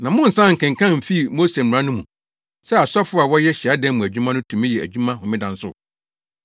Na monnsan nkenkan mfii Mose mmara no mu, sɛ asɔfo a wɔyɛ hyiadan mu adwuma no tumi yɛ adwuma Homeda nso?